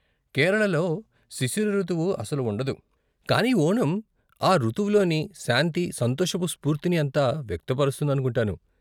కేరళలో శిశిర రుతువు అసలు ఉండదు, కానీ ఓణం ఆ రుతువులోని శాంతి, సంతోషపు స్ఫూర్తిని అంతా వ్యక్తపరుస్తుందనుకుంటాను.